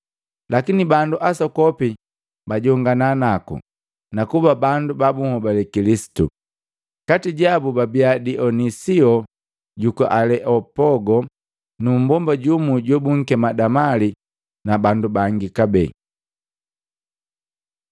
Lakini bandu asokopi bajongana naku, nakuba bandu ba bunhobale Kilisitu. Kati jabu babia Dionisio juku Aleopogo nu mmbomba jumu jobunkema Damali na bandu bangi kabee.